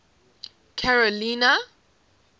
carolina